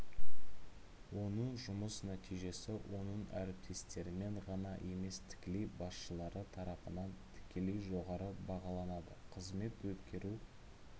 оның жұмыс нәтижесі оның әріптестерімен ғана емес тікелей басшылары тарапынан тікелей жоғары бағаланады қызмет өткеру